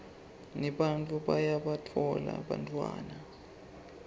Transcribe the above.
nebantfu bayabatfola bantfwana